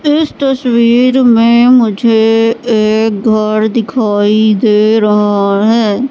इस तस्वीर में मुझे एक घर दिखाई दे रहा है।